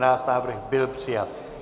Návrh byl přijat.